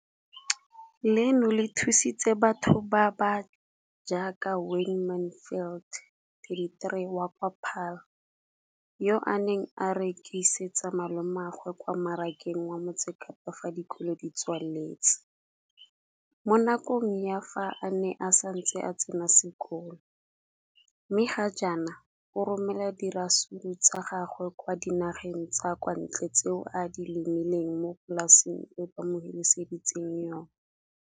leno le thusitse batho ba ba jaaka Wayne Mansfield, 33, wa kwa Paarl, yo a neng a rekisetsa malomagwe kwa Marakeng wa Motsekapa fa dikolo di tswaletse, mo nakong ya fa a ne a santse a tsena sekolo, mme ga jaanong o romela diratsuru tsa gagwe kwa dinageng tsa kwa ntle tseo a di lemileng mo polaseng eo ba mo hiriseditseng yona.